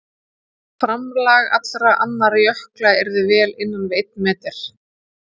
framlag allra annarra jökla yrði vel innan við einn metri